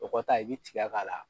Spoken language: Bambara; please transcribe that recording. O kɔ ta i bɛ tigɛ k'a la.